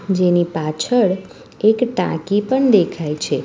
જેની પાછળ એક ટાંકી પન દેખાઈ છે.